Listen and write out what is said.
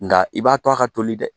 Nka i b'a to a ka toli dɛ.